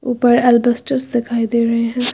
ऊपर एल्बस्टर्स दिखाई दे रहे हैं।